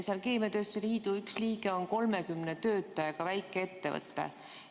Selle liidu üks liige on 30 töötajaga väikeettevõte.